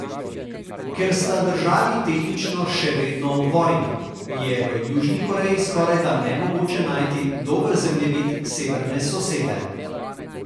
Ker sta državi tehnično še vedno v vojni, je v Južni Koreji skorajda nemogoče najti dober zemljevid severne sosede.